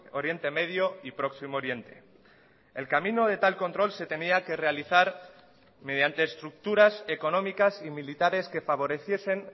oriente medio y próximo oriente el camino de tal control se tenía que realizar mediante estructuras económicas y militares que favoreciesen